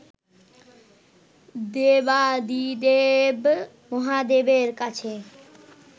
দেবাদিদেব মহাদেবের কাছে